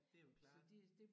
Det jo klart